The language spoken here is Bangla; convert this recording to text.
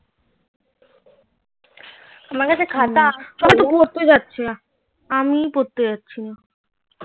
আমি পড়তে যাচ্ছি